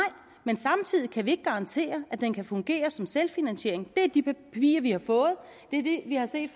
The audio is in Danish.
men samtidig kan vi ikke garantere at den kan fungere som selvfinansiering det står i de papirer vi har fået det er det vi har set